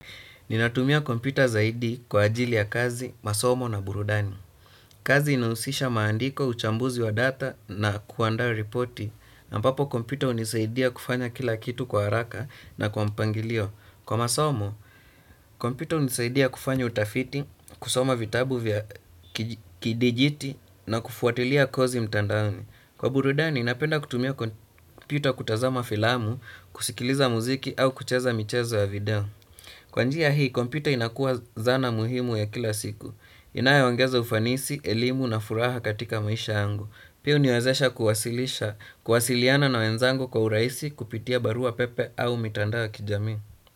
Ninatumia kompyuta zaidi kwa ajili ya kazi, masomo na burudani. Kazi inahusisha maandiko, uchambuzi wa data na kuandaa ripoti. Ambapo kompyuta hunisaidia kufanya kila kitu kwa haraka na kwa mpangilio. Kwa masomo, kompyuta hunisaidia kufanya utafiti, kusoma vitabu vya kidijiti na kufuatilia kozi mtandaoni. Kwa burudani, napenda kutumia kompyuta kutazama filamu, kusikiliza muziki au kucheza michezo ya video. Kwa njia hii kompyuta inakua zana muhimu ya kila siku inayoongeza ufanisi, elimu na furaha katika maisha yangu. Pia huniwazesha kuwasilisha, kuwasiliana na wenzangu kwa urahisi kupitia barua pepe au mitandao ya kijamii.